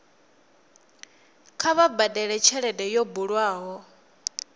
kha vha badele tshelede yo bulwaho